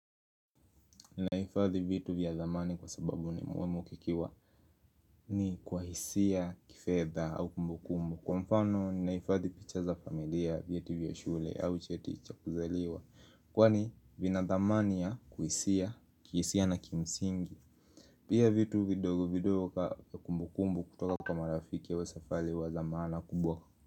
Ninaifadhi vitu vya dhamani kwa sababu ni muhimu kukiwa ni kwa hisia kifedha au kumbukumbu kwa mfano ninaifadhi picha za familia vyeti vya shule au cheti cha kuzaliwa kwani vina dhamani ya kuhisia, kihisia na kimsingi. Pia vitu vidogo vidogo kaa kumbukumbu kutoka kwa rafiki au safari huwa za maana kubwa.